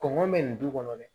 Kɔngɔ bɛ nin du kɔnɔ dɛ